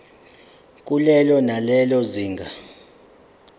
kulelo nalelo zinga